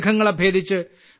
മേഘങ്ങളെ ഭേദിച്ച്